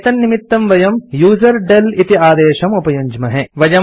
एतन्निमित्तं वयम् यूजरडेल इति आदेशम् उपयुञ्ज्महे